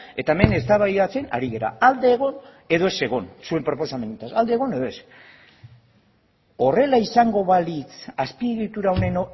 eta hemen eztabaidatzen ari gara alde egon edo ez egon zuen proposamenarekin alde egon edo ez horrela izango balitz azpiegitura honen